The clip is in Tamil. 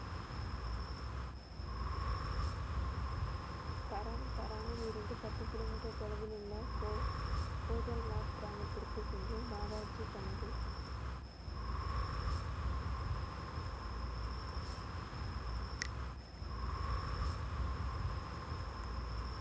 தன் தரனில் இருந்து பத்து கிலோமீட்டர் தொலைவில் உள்ள கோ~ கோதல்வாட் கிராமத்திற்கு சென்று பாபாஜி தனது